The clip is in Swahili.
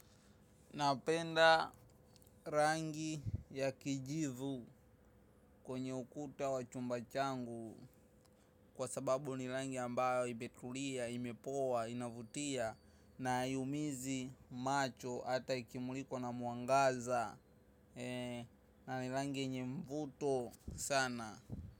Napenda rangi ya kijivu kwenye ukuta wa chumba changu kwa sababu ni rangi ambayo imetulia, imepoa, inavutia na haiumizi macho hata ikimulikwa na mwangaza na ni rangi yenye mvuto sana.